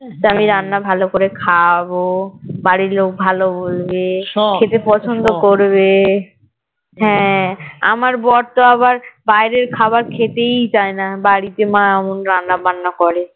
তা আমি রান্না ভালো করে খাওয়াবো বাড়ির লোক ভালো বলবে খেতে পছন্দ করবে হ্যাঁ আমার বর তো আবার বাইরের খাবার খেতেই চায়না বাড়িতে মা অমন রান্না বান্না করে